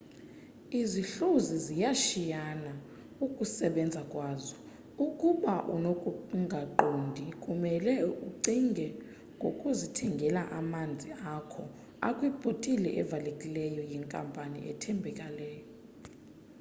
izihluzi ziyashiyana ukusebenza kwazo ukuba unokungaqondi kumele ucinge ngokuzithengela amanzi akho akwibhotile evalekileyo yenkampani ethembakeleyo